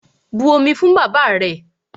But omi fún bàbáà rẹ!